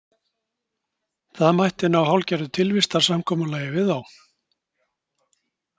Það mætti ná hálfgerðu tilvistarsamkomulagi við þá.